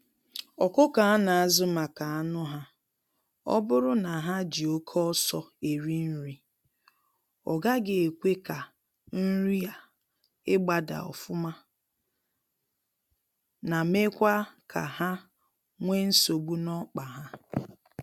Ọkụkọ a na azụ maka anụ ha, oburu na ha jị oke ọsọ eri nri, ọgaghị ekwe ka nrị a ịgba daa ofụma na mekwa ka ha nwe nsogbu n'ọkpa ha.